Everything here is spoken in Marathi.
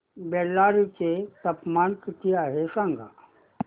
बेल्लारी चे तापमान किती आहे सांगा